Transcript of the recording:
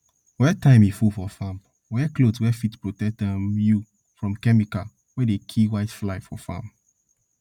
wey time e full for farm wear cloth wey fit protect um you from chemical wey dey kill whitefly for farm